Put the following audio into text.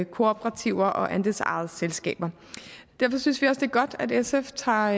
kooperativer og andelsejede selskaber derfor synes vi også det er godt at sf tager